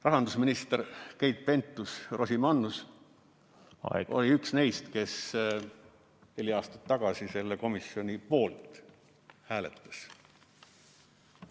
Rahandusminister Keit Pentus-Rosimannus oli üks neist, kes neli aastat tagasi selle komisjoni poolt hääletas.